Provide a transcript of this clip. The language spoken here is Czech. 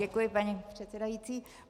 Děkuji, paní předsedající.